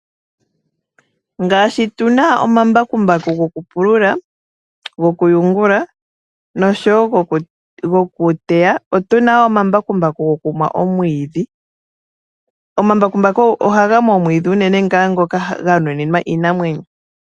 Ngaashi tu na omambakumbaku gokupulula, gokuyungula noshowo gokuteya otu na wo gokumwa omwiidhi. Omambakumbaku ohaga mu omwiidhi unene ngaa ngoka gwanuninwa iinamwenyo.